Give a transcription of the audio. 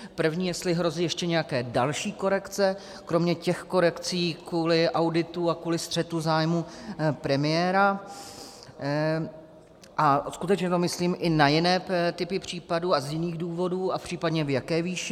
První, jestli hrozí ještě nějaké další korekce kromě těch korekcí kvůli auditu a kvůli střetu zájmů premiéra, a skutečně to myslím i na jiné typy případů a z jiných důvodů, a případně v jaké výši.